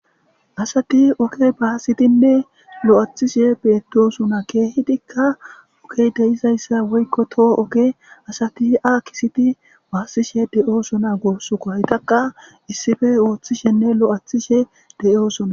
Asati oge baasidinne lo7athishe beettosona. Keehidikka ogey deyizayssa woykko toho oge asati a kisiti baassishe de7oosona goossuko. haytaka issippe ooththishenne lo7athishe de7oosona.